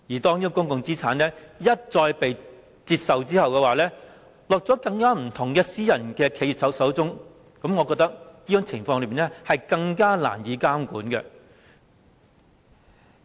當公共資產被一再拆售，便會落入更多不同的私人企業手中，我覺得這情況更加難以監管。